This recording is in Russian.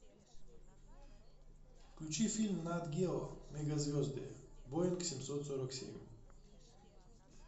включи фильм нат гео мегазвезды боинг семьсот сорок семь